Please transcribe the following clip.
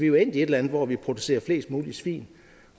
jo endt i et eller andet hvor vi producerer flest mulige svin